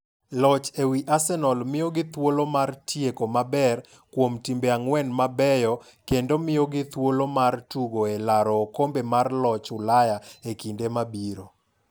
Loch ewi Arsenal miyo gi thuolo mar tieko maber kuom timbe ang'wen mabeyokendo miyogi thuolo mar tugo e laro okombe mar joloch Ulaya e kinde mabiro.